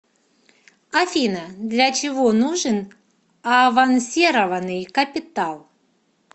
афина для чего нужен авансированный капитал